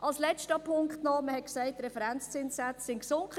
Der letzte Punkt: Wir haben gesagt, dass die Referenzzinssätze gesunken sind.